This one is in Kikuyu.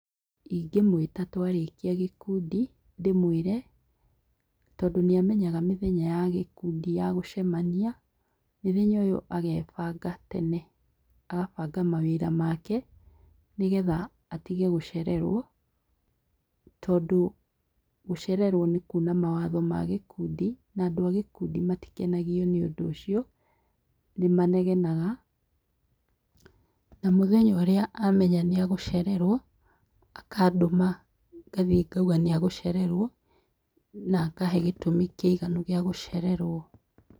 Ingĩmwĩta twarĩkia gĩkundi ndĩmwĩre, tondũ nĩamenyaga mĩthenya ya gĩkundi ya gũcemania, mĩthenya ĩo agebanga tene. Agabanga mawĩra make nĩgetha atige gũcererwo, tondũ gũcererwo nĩkuna mawatho ma gĩkundi na andũ agĩkundi matikenagio nĩũndũ ũcio nĩmanegenaga. Na mũthenya ũrĩa amenya nĩagũcererwo, akandũma ngathiĩ ngauga nĩagũcererwo na akahe gĩtũmi kĩiganu gĩa gũcererwo.